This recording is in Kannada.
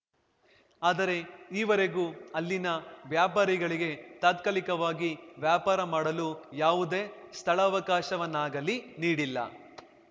ಆದರೆ ಈ ವರೆಗೂ ಅಲ್ಲಿನ ವ್ಯಾಪಾರಿಗಳಿಗೆ ತಾತ್ಕಾಲಿಕವಾಗಿ ವ್ಯಾಪಾರ ಮಾಡಲು ಯಾವುದೇ ಸ್ಥಳಾವಕಾಶವನ್ನಾಗಲಿ ನೀಡಿಲ್ಲ